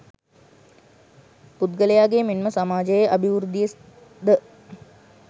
පුද්ගලයාගේ මෙන්ම සමාජයේ අභිවෘද්ධිය ද